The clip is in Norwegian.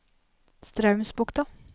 Straumsbukta